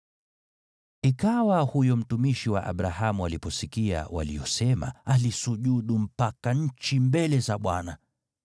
Ikawa huyo mtumishi wa Abrahamu aliposikia waliyosema, alisujudu mpaka nchi mbele za Bwana .